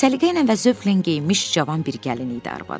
Səliqə ilə və zövqlə geyinmiş cavan bir gəlin idi arvadı.